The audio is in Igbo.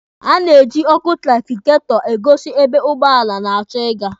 A na-eji ọkụ trafigetọ egosi ebe ụgbọala na-achọ ịga.